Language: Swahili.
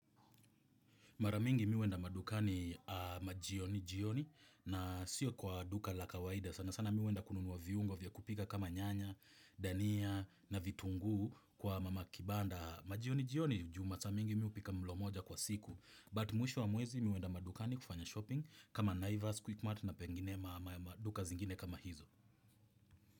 Maramingi mimi huenda madukani majioni jioni na sio kwa duka la kawaida sana sana mimi huenda kununua viungo vya kupika kama nyanya, dania na vitungu kwa mama kibanda majioni jioni jumata mingi mimi hupika mlo moja kwa siku. But mwisho wa mwezi mimi huenda madukani kufanya shopping kama naivas, quickmart na pengine maduka zingine kama hizo.